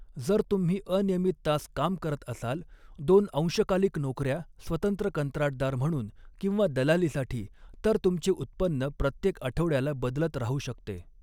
जर तुम्ही अनियमित तास काम करत असाल, दोन अंशकालिक नोकऱ्या, स्वतंत्र कंत्राटदार म्हणून किंवा दलालीसाठी, तर तुमचे उत्पन्न प्रत्येकआठवड्याला बदलत राहू शकते.